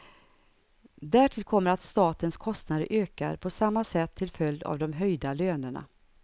Därtill kommer att statens kostnader ökar på samma sätt till följd av de höjda lönerna.